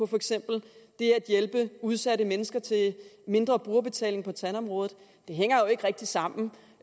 for eksempel det at hjælpe udsatte mennesker til mindre brugerbetaling på tandområdet det hænger jo ikke rigtig sammen